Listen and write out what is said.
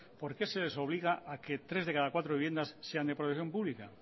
por qué se les obliga a que tres de cada cuatro viviendas sean de protección pública